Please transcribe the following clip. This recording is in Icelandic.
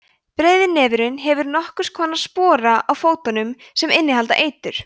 breiðnefurinn hefur nokkurs konar spora á fótunum sem innihalda eitur